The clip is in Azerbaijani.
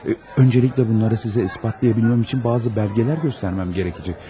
Öncəliklə bunları sizə isbatlaya bilməm üçün bəzi bəlgələr göstərməm gərəkəcək.